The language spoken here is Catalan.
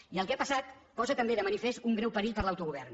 i el que ha passat posa també de manifest un greu perill per a l’autogovern